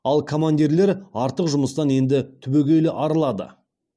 ал командирлер артық жұмыстан енді түбегейлі арылады